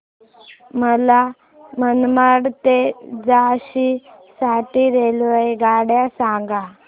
मला मनमाड ते झाशी साठी रेल्वेगाड्या सांगा